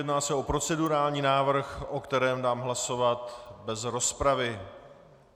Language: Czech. Jedná se o procedurální návrh, o kterém dám hlasovat bez rozpravy.